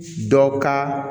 Dɔ ka